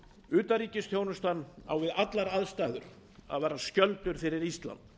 utanríkisþjónustan á við allar aðstæður að vera skjöldur fyrir ísland